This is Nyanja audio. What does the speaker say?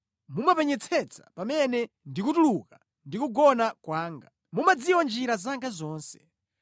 Mumapenyetsetsa pamene ndikutuluka ndi kugona kwanga; mumadziwa njira zanga zonse.